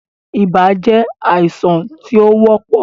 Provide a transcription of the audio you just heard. Ibà je àìsàn tí ó wọ́pọ̀